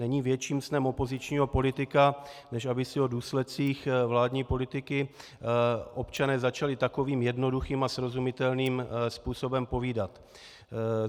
Není větším snem opozičního politika, než aby si o důsledcích vládní politiky občané začali takovým jednoduchým a srozumitelným způsobem povídat.